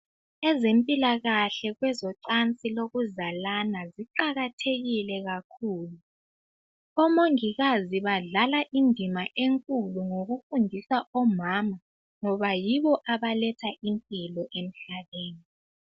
Ezempilakahle kwezocansi lokuzalana ziqakathekile kakhulu, omongikazi badlala indima enkulu ngokufundisa omama ngoba yibo abaletha impilo emhlabeni.